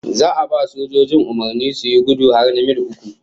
Za a ba sojojin umurnin suyi gudu har na mil uku